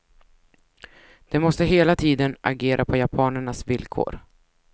De måste hela tiden agera på japanernas villkor.